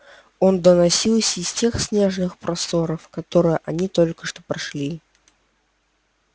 он доносился из тех снежных просторов которые они только что прошли